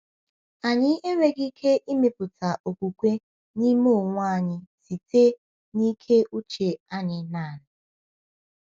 Anyị enweghị ike ịmepụta okwukwe n’ime onwe anyị site na ike uche anyị naanị.